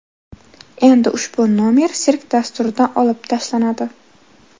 Endi ushbu nomer sirk dasturidan olib tashlanadi .